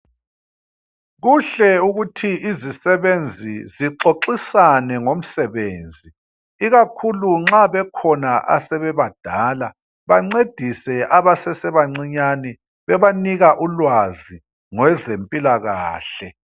Kuhle ukuthi izisebenzi zixoxisane ngomsebenzi ikakhulu nxa bekhona asebebadala bancedise abasesebancinyane bebanika ulwazi ngezempilakahle